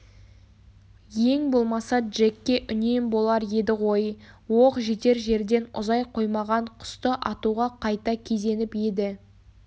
ең болмаса джекке үнем болар еді ғой оқ жетер жерден ұзай қоймаған құсты атуға қайта кезеніп еді